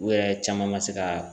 U yɛrɛ caman ma se ka